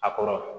A kɔrɔ